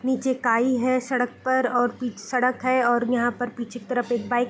नीचे काई है सड़क पर और पिच सड़क है और यहाँ पर पीछे की तरफ एक बाइक --